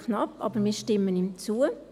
Knapp, aber wir stimmen ihm zu.